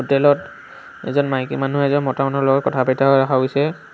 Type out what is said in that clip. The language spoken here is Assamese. হোটেলত এজন মাইকী মানুহে এজন মতা মানুহৰ লগত কথা পাতি থকা দেখা পোৱা গৈছে।